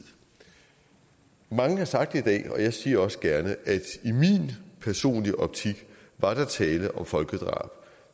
mange har sagt i dag og jeg siger det også gerne at i min personlige optik var der tale om folkedrab